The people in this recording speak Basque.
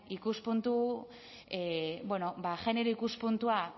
genero ikuspuntua